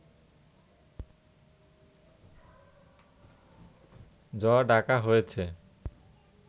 য ডাকা হয়েছে